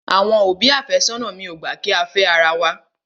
Àwọn òbí àfẹ́sónà mi ò gbà kí á fẹ́ ara wa.